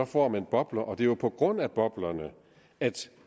får man bobler og det er jo på grund af boblerne at